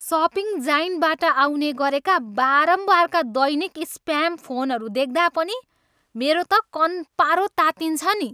Shopping जायन्टबाट आउने गरेका बारम्बारका दैनिक स्प्याम फोनहरू देख्दा पनि मेरो त कन्पारो तात्तिन्छ नि।